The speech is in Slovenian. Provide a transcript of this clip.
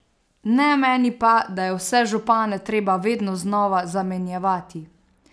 Ne meni pa, da je vse župane treba vedno znova zamenjevati.